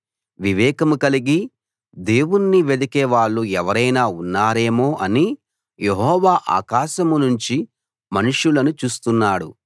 వివేకం కలిగి దేవుణ్ణి వెదికే వాళ్ళు ఎవరైనా ఉన్నారేమో అని యెహోవా ఆకాశం నుంచి మనుషులను చూస్తున్నాడు